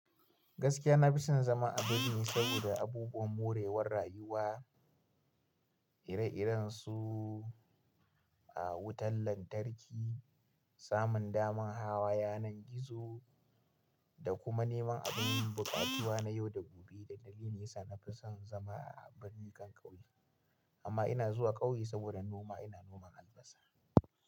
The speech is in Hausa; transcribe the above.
Gaskiya na fi son zama a birni saboda abubuwan morewar rayuwa, ire-iren su a wutan lantarki, samun daman hawa yanar gizo da kuma neman abin buƙatuwa na yau da gobe. Dalili ne sa na fi son zama a birni kan ƙauye amma ina zuwa ƙauye saboda noma, ina noman albasa.